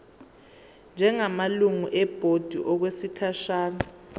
njengamalungu ebhodi okwesikhashana